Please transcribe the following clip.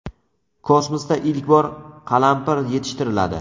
Kosmosda ilk bor qalampir yetishtiriladi.